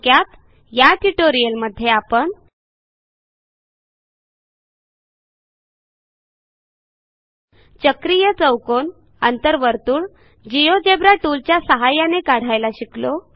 थोडक्यात या ट्युटोरियलमध्ये आपण चक्रीय चौकोन अंतर्वर्तुळ जिओजेब्रा टूलच्या सहाय्याने काढायला शिकलो